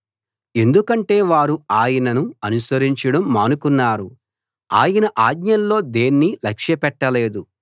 ఎందుకంటే వారు ఆయనను అనుసరించడం మానుకున్నారు ఆయన ఆజ్ఞల్లో దేన్నీ లక్ష్య పెట్టలేదు